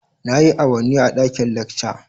Nayi awanni a ɗaƙin lekca